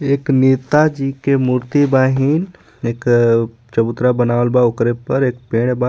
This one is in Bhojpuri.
एक नेता जी के मूर्ति बाहीन एक चबूतरा बनावल बा ओकरे पर एगो पेड़ बा.